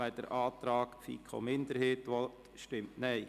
wer den Antrag FiKo-Minderheit annehmen will, stimmt Nein.